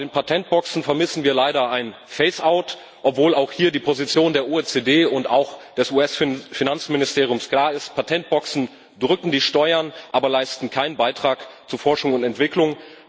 Bei den Patentboxen vermissen wir leider ein phase out obwohl auch hier die Position der OECD und auch des US Finanzministeriums klar ist Patentboxen drücken die Steuern, aber leisten keinen Beitrag zu Forschung und Entwicklung.